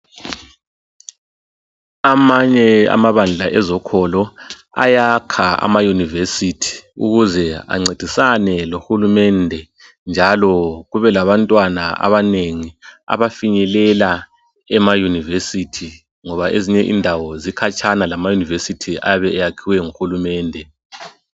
Amanye amabandla ezokolo ayaka emayunivesithi ukuze ancedisane lohulumende njalo kube labantwana abanengi abafinyelela emayunivesithi. Ngoba ezinye indawo zikhatshana lamayunivesithi ayabe eyakiwe ngohulumende.